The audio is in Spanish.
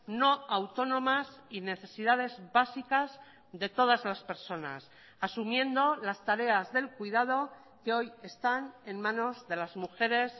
no autónomas y necesidades básicas de todas las personas asumiendo las tareas del cuidado que hoy están en manos de las mujeres